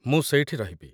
ମୁଁ ସେଇଠି ରହିବି ।